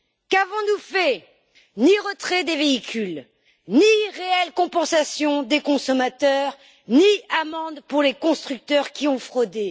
Qu'avons nous fait? Ni retrait des véhicules, ni réelle compensation des consommateurs, ni amende pour les constructeurs qui ont fraudé.